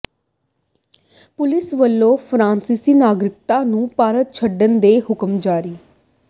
police ਵੱਲੋਂ ਫਰਾਂਸਿਸੀ ਨਾਗਰਿਕ ਨੂੰ ਭਾਰਤ ਛੱਡਣ ਦੇ ਹੁਕਮ ਜਾਰੀ